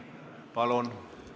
Palun!